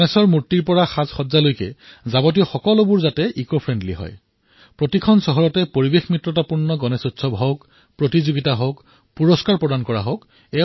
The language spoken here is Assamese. গণেশৰ মূৰ্তিৰ পৰা আৰম্ভ কৰি সাজসজ্জাৰ সামগ্ৰী সকলো পৰিৱেশ অনুকূল হওক আৰু মই বিচাৰিম যে প্ৰতিখন চহৰত পৰিৱেশ অনুকূল গণেশ উৎসৱৰ প্ৰতিযোগিতা হওক ইয়াত পুৰষ্কাৰৰ ব্যৱস্থা কৰা হওক